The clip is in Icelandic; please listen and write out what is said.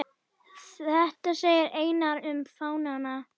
Þetta segir Einar um fánann